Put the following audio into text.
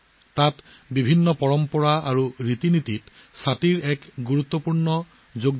ছাতিবোৰ বহু পৰম্পৰা আৰু বিধি বিধানৰ এক গুৰুত্বপূৰ্ণ অংশ